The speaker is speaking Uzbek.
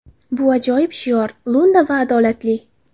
Bu ajoyib shior, lo‘nda va adolatli.